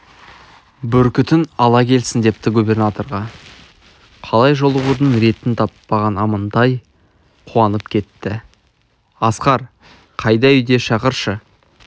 бүркітін ала келсін депті губернаторға қалай жолығудың ретін таппаған амантай қуанып кетті асқар қайда үйде шақыршы